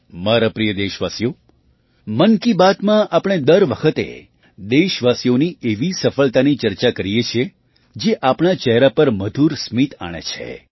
મારા પ્રિય દેશવાસીઓ મન કી બાતમાં આપણે દર વખતે દેશવાસીઓની એવી સફળતાની ચર્ચા કરીએ છીએ જે આપણા ચહેરા પર મધુર સ્મિત આણે છે